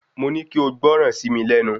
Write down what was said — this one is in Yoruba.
Mo ní kí ó gbọ́ran sí mi lẹ́nu